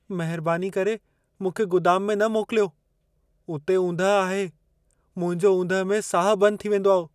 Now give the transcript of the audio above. महिरबानी करे मूंखे गुदाम में न मोकिलियो। उते ऊंदहि आहे। मुंहिंजो ऊंदहि में साहु बंदि थी वेंदो।